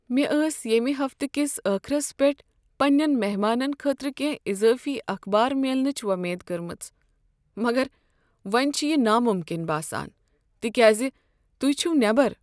مےٚ ٲس ییمہ ہفتہٕ کس ٲخرس پیٹھ پننین مہمانن خٲطرٕ کینٛہہ اضٲفی اخبار میلنٕچ وۄمید کرمژ، مگر وۄنۍ چھ یہ ناممکن باسان تکیازِ تہۍ چھو نیبر۔